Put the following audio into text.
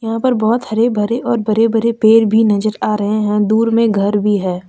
यहां पर बहुत हरे भरे और बरे बरे पेड़ भी नजर आ रहे हैं दूर में घर भी है।